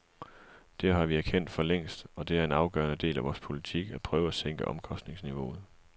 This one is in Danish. Det har vi erkendt for længst, og det er en afgørende del af vor politik at prøve at sænke omkostningsniveauet.